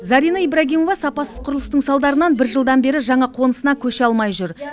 зарина ибрагимова сапасыз құрылыстың салдарынан бір жылдан бері жаңа қонысына көше алмай жүр